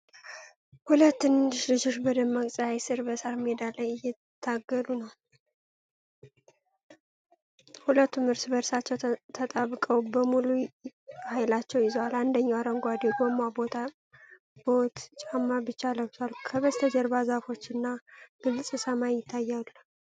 ሁለት ትንንሽ ልጆች በደማቅ ፀሐይ ስር በሳር ሜዳ ላይ እየታገሉ ነው። ሁለቱም እርስ በእርሳቸው ተጣብቀው በሙሉ ኃይላቸው ይዘዋል። አንደኛው አረንጓዴ የጎማ ቦት ጫማ ብቻ ለብሷል። ከበስተጀርባ ዛፎች እና ግልጽ ሰማይ ይታያሉ።